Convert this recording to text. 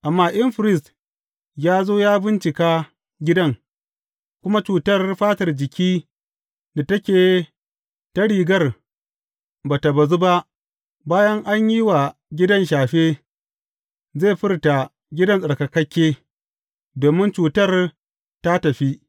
Amma in firist ya zo ya bincika gidan kuma cutar fatar jiki da take ta rigar ba tă bazu ba bayan an yi wa gidan shafe, zai furta gidan tsarkakakke, domin cutar ta tafi.